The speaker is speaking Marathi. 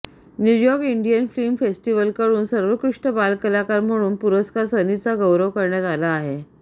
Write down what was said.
न्यूयॉर्क इंडियन फिल्म फेस्टिव्हलकडून सर्वोत्कृष्ट बालकलाकार म्हणून पुरस्कार सनीचा गौरव करण्यात आला आहे